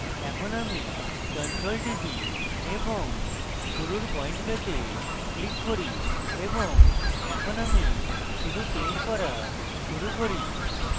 এখন আমি ctrl টিপি এবং শুরুর paint পেতে click করি এবং এখন আমি শুধু paint করা শুরু করি